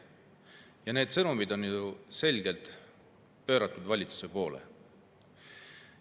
Ja need sõnumid on selgelt suunatud valitsusele.